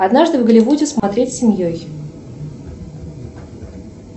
однажды в голливуде смотреть семьей